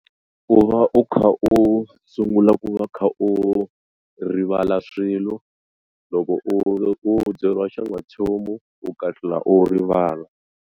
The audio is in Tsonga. Ku va u kha u sungula ku va kha u rivala swilo loko u loku byeriwa xan'wanchumu u kahlula u rivala.